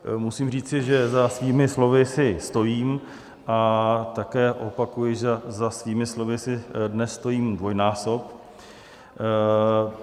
Musím říci, že za svým slovy si stojím, a také opakuji, že za svými slovy si dnes stojím dvojnásob.